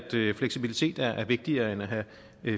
fleksibilitet er vigtigere end at have